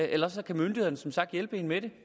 og ellers kan myndighederne som sagt hjælpe en med det